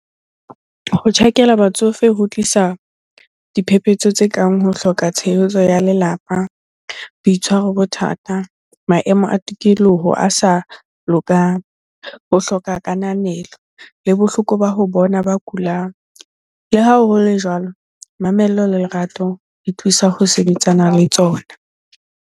Ho tjhakela batsofe ho tlisa diphephetso tse kang ho hloka tshehetso ya lelapa, boitshwaro bothata, maemo a tikoloho a sa lokang, ho hloka kananelo le bohloko ba ho bona ba kulang. Le ha ho le jwalo, mamello le lerato di thusa ho sebetsana le tsona.